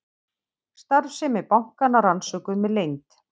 Starfsemi bankanna rannsökuð með leynd